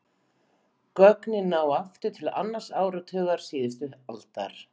Gögnin ná aftur til annars áratugar síðustu aldar.